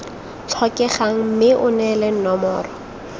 tlhokegang mme o neele nomoro